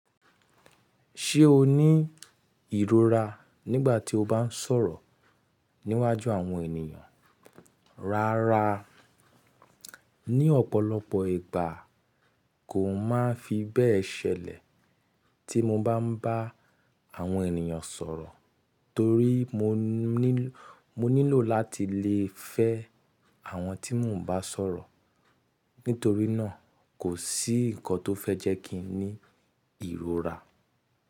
Ṣé o ní ìrora nígbà tí o bá ń sọ̀rọ̀ níwájú àwọn ènìyàn? Rárá, ní ọ̀pọ̀lọpọ̀ ìgbà kò máa fi bẹ́ẹ̀ ṣẹlẹ̀ tí mo bá ń bá àwọn ènìyàn sọ̀rọ̀ torí mo nílò láti lè fẹ́ àwọn tí mò ń bá sọ̀rọ̀. Nítorí náà kò sí ǹkan tó fẹ́ jẹ́ kí n ní ìrora.